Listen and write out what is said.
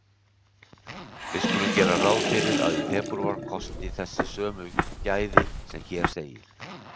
Við skulum gera ráð fyrir að í febrúar kosti þessi sömu gæði sem hér segir: